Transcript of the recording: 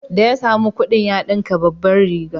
Da ya sami kuɗin ya ɗinka babbar riga